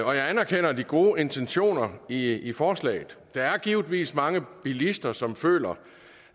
og jeg anerkender de gode intentioner i i forslaget der er givetvis mange bilister som føler